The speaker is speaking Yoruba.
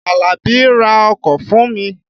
Àlàbí ra ọkọ̀ fùn mi.